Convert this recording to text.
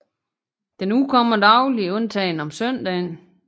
Den udkommer dagligt undtagen om søndagen